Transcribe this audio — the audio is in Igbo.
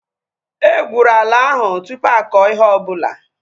E gwụrụ ala ahu tụpụ akọ ihe ọbụla